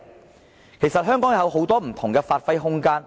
香港其實有很多不同的發揮空間。